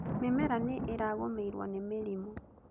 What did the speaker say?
Mĩmera nĩ ĩragũmĩirwo nĩ mĩrimũ